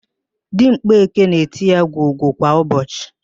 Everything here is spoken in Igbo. Di mgbeke na-eti ya gwogwo kwa ụbọchị